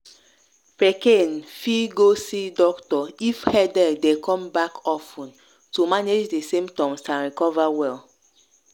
pikin fit go see doctor if headache dey come back of ten to manage di symptoms and recover well.